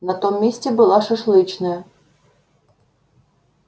на том месте была шашлычная